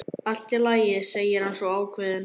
Allt í lagi, segir hann svo ákveðinn.